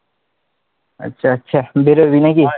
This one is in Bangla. আচ্ছা আচ্ছা বেরোবি নাকি,